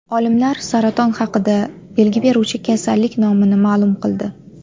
Olimlar saraton haqida belgi beruvchi kasallik nomini ma’lum qildi.